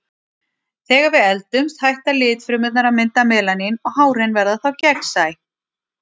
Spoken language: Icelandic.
Þegar við eldumst hætta litfrumurnar að mynda melanín og hárin verða þá gegnsæ.